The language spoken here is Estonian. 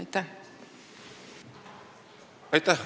Aitäh!